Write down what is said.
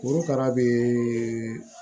Korokara bɛ